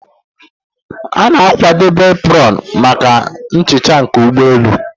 A na-akwadebe apron maka nhicha nke ụgbọelu